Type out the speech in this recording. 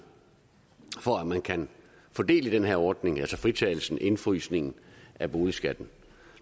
for at man kan få del i den her ordning altså fritagelsen indefrysningen af boligskatten